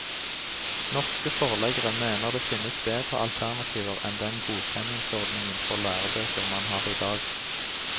Norske forleggere mener det finnes bedre alternativer enn den godkjenningsordningen for lærebøker man har i dag.